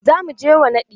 Za mu je wa naɗi.